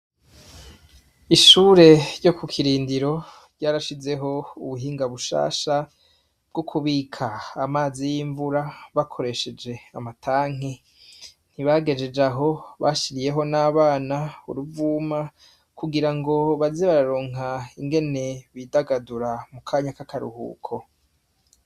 Ishure ryo ku kirindiro ryarashizeho ubuhinga bushasha bwo kubika amazi y'imvura bakoresheje amatanke ntibagejeje aho bashiriyeho n'abana uruvuma kugira ngo bazi bararonka ingene bidagadura mu kanya ka akaruhuko.